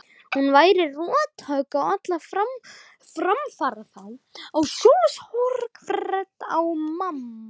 Hún væri rothögg á alla framfaraþrá og sjálfsbjargarhvöt manna.